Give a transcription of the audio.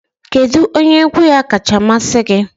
Kedu onye egwu ya kacha amasị gị?